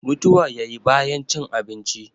mutuwa ya yi bayan cin abinci